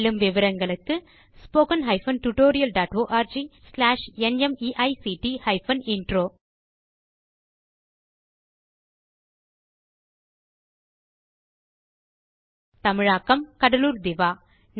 மேலும் விவரங்களுக்கு spoken hyphen tutorial dot org slash NMEICT hyphen intro தமிழாக்கம் கடலூர் திவா